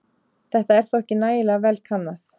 Þetta er þó ekki nægilega vel kannað.